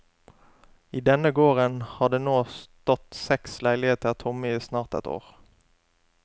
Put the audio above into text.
I denne gården har det nå stått seks leiligheter tomme i snart ett år.